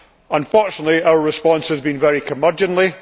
Unfortunately, our response has been very curmudgeonly.